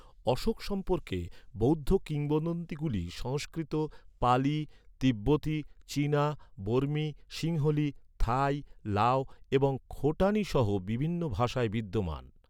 অশোক সম্পর্কে বৌদ্ধ কিংবদন্তিগুলি সংস্কৃত, পালি, তিব্বতি, চীনা, বর্মী, সিংহলী, থাই, লাও এবং খোটানি সহ বিভিন্ন ভাষায় বিদ্যমান।